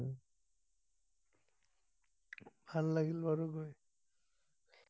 ভাল লাগিল বাৰু গৈ